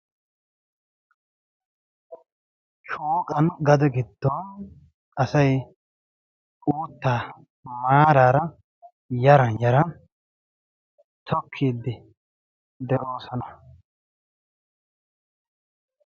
Shooqan gade giddon asay uuttaa maaraara yaran yaran tokkiiddi de7oosona.